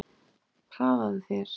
Hraðaðu þér!